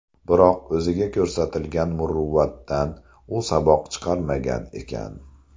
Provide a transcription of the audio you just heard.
Biroq, o‘ziga ko‘rsatilgan muruvvatdan u saboq chiqarmagan ekan.